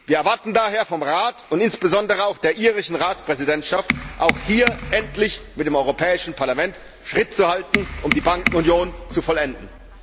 Wir erwarten daher vom Rat und insbesondere auch von der irischen Ratspräsidentschaft, auch hier endlich mit dem Europäischen Parlament Schritt zu halten, um die Bankenunion zu vollenden.